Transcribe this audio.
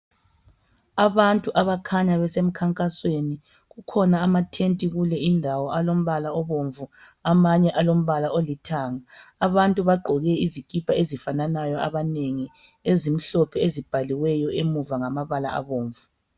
Abantu abakhanya besemkhankasweni. Kukhona amathenti kule indawo alombala obomvu amanye alombala olithanga. Abantu bagqoke izikipa ezifananayo abanengi ,ezimhlphe ezibhaliweyo emuva ngamabala abomvu.